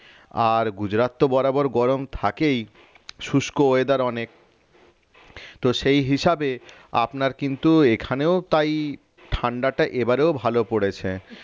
আর গুজরাট তো বরাবর গরম থাকেই শুষ্ক weather অনেক তো সেই হিসাবে আপনার কিন্তু এখানেও তাই ঠান্ডাটা এবারেও ভালো পড়েছে